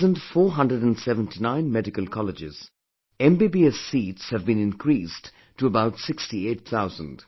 In the present 479 medical colleges, MBBS seats have been increased to about 68 thousand